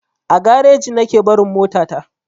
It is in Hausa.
A gareji nake barin mota ta.